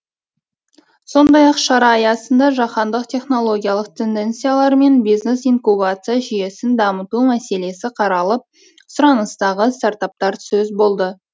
сондай ақ шара аясында жаһандық технологиялық тенденциялар мен бизнес инкубация жүйесін дамыту мәселесі қаралып сұраныстағы стартаптар сөз болды